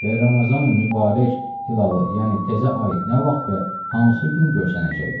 Və Ramazanı Mübarək hilalı, yəni təzə ay nə vaxt və hansı gün görsənəcəkdi?